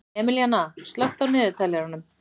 Emilíanna, slökktu á niðurteljaranum.